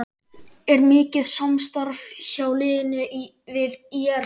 Er mikið samstarf hjá liðinu við ÍR?